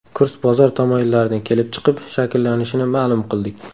Kurs bozor tamoyillaridan kelib chiqib shakllanishini ma’lum qildik.